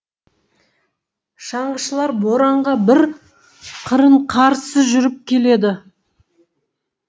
шаңғышылар боранға бір қырын қарсы жүріп келеді